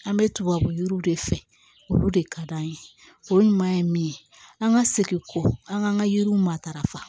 An bɛ tubabu yiriw de fɛ olu de ka d'an ye o ɲuman ye min ye an ka segin kɔ an ka an ka yiriw matarafa